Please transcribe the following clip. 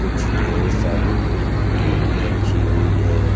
कुछ ढेर सारी टी_वी रखी हुई है।